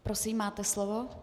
Prosím, máte slovo.